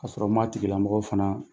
Ka sɔrɔ n m'a tigilamɔgɔw fana